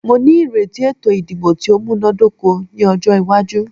Mó ní ìrètí ètò ìdìbò tí o múná dóko ní ọjọ́ iwájú.